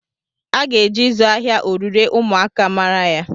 A ga-eji ịzụ ahịa orure ụmụaka mara ya.